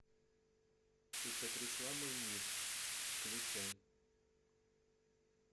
ты потрясла мой мир включай